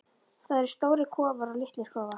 Það eru stórir kofar og litlir kofar.